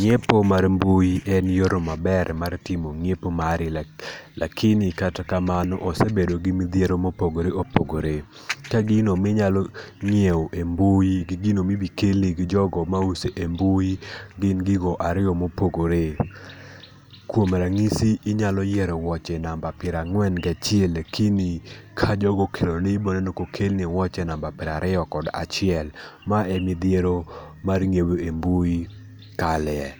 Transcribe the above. Nyiepo mar mbui en yorno maber mar timo nyiepo mari piled lakini kata kamano, osebedo gi midhiero mopogore opogore. Ka gino ma inyalo nyiewo e mbui gi gino ma ibi kelni gi jogo mauso e mbui gin gigo ariyo mopogore. Kuom ranyisi inyalo yiero wuoche namba piero ang'wen gachiel lakini ka jogo okeloni ibiro yudo ka okelni wuoche namba piero ariyo kod achiel mae e midhiero mar nyiepo e mbui kale.